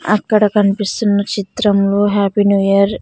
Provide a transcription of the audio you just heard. అక్కడ కనిపిస్తున్న చిత్రంలో హ్యాపీ న్యూ ఇయర్ --